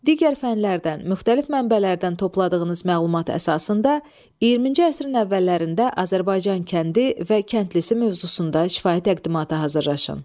Digər fənlərdən, müxtəlif mənbələrdən topladığınız məlumat əsasında 20-ci əsrin əvvəllərində Azərbaycan kəndi və kəndlisi mövzusunda şifahi təqdimata hazırlaşın.